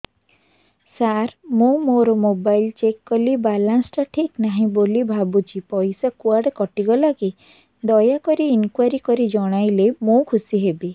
ସାର ମୁଁ ମୋର mobile check କଲି ବାଲାନ୍ସ ଟା ଠିକ ନାହିଁ ବୋଲି ଭାବୁଛି ପଇସା କୁଆଡେ କଟି ଗଲା କି ଦୟାକରି ଇନକ୍ୱାରି କରି ଜଣାଇଲେ ମୁଁ ଖୁସି ହେବି